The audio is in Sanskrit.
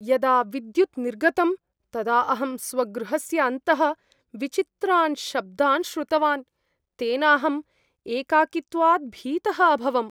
यदा विद्युत् निर्गतम्, तदा अहं स्वगृहस्य अन्तः विचित्रान् शब्दान् श्रुतवान्, तेनाहं एकाकित्वात् भीतः अभवम्।